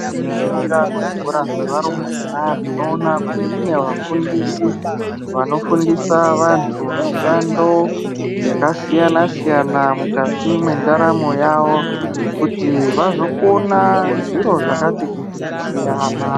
Tikaringira kuzvikora zveva rumbwana tinoona kuti kune vafundisi vanofundisa vantu mishando yakasiyana siyana mukati mwendaramo yavo kuti vazokona zviro zvakati kuti kusiyana.